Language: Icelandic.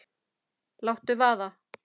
Láttu vaða